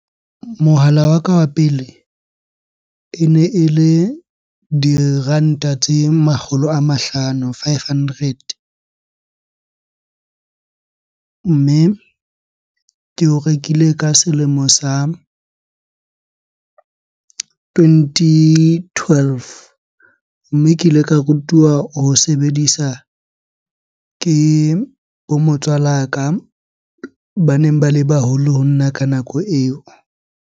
Mohala wa ka wa pele ene ele diranta tse makgolo a mahlano, five hundred. Mme ke o rekile ka selemo sa twenty twelve. Mme ke ile ka rutuwa ho sebedisa ke bo motswala ka baneng ba le baholo ho nna ka nako eo.